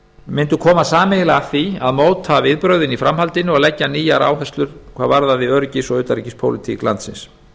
mundu koma sameiginlega að því að móta viðbrögðin í framhaldinu og leggja nýjar áherslur hvað varðaði öryggis og utanríkispólitík landsins